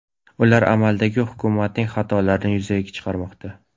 Ular amaldagi hukumatning xatolarini yuzaga chiqarmoqda.